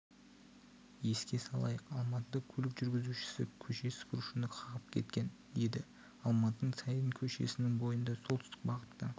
еске салайық алматыда көлік жүргізушісі көше сыпырушыны қағып кеткен еді алматының сайын көшесінің бойында солтүстік бағытта